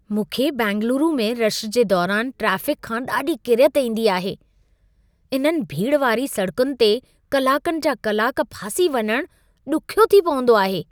मूंखे बैंगलोरु में रशु जे दौरान ट्रैफ़िकु खां ॾाढी किरियत ईंदी आहे। इन्हनि भीड़ वारी सड़कुनि ते कलाकनि जा कलाक में फासी वञण ॾुख्यो थी पवंदो आहे।